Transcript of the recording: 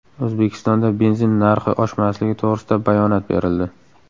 O‘zbekistonda benzin narxi oshmasligi to‘g‘risida bayonot berildi.